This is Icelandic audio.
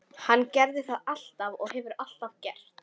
Hann gerði það alltaf og hefur alltaf gert.